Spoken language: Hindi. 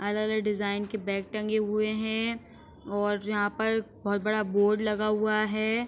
अलग-अलग डिजाइन के बैग टंगे हुए हैं और यहां पर बोहोत बड़ा बोर्ड लगा हुआ है।